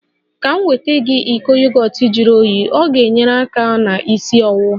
Ka m nweta gị iko yogọt juru oyii, ọ ga-enyere aka na isi ọwụwa